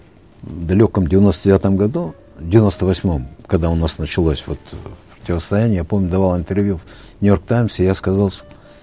в далеком девяносто девятом году девяносто восьмом когда у нас началось вот противостояние я помню давал интервью нью йорк таймс и я сказал